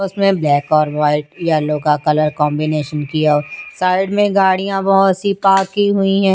उसमें ब्लैक और white yellow का कलर कॉम्बिनेशन किया साइड में गाड़ियाँ बहुत सी पार्क की हुई हैं।